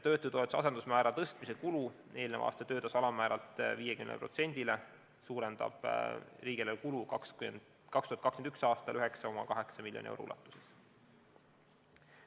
Töötutoetuse asendusmäära tõstmise kulu eelmise aasta töötasu alammääralt 50%-ni suurendab riigieelarve kulu 2021. aastal 9,8 miljoni euro ulatuses.